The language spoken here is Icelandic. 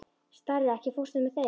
Starri, ekki fórstu með þeim?